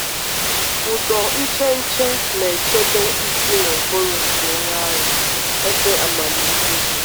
Ụdọ ncheche na-echebe isi na ụbụrụ nke onye agha — ebe amamihe dị.